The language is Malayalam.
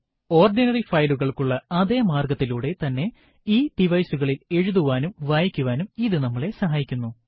ഓർഡിനറി ഫയലുകൾക്കുള്ള അതെ മാർഗത്തിലുടെ തന്നെ ഈ device കളിൽ എഴുതുവാനും വായിക്കുവാനും ഇത് നമ്മളെ സഹായിക്കുന്നു